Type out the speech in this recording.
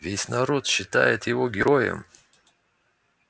весь народ считает его героем